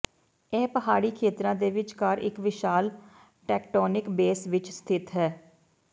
ਇਹ ਪਹਾੜੀ ਖੇਤਰਾਂ ਦੇ ਵਿਚਕਾਰ ਇੱਕ ਵਿਸ਼ਾਲ ਟੇਕਟੋਨਿਕ ਬੇਸ ਵਿੱਚ ਸਥਿਤ ਹੈ